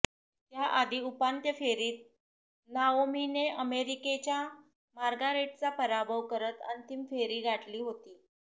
त्याआधी उपांत्य फेरीत नाओमीने अमेरिकेच्या मार्गारेटचा पराभव करत अंतिम फेरी गाठली होती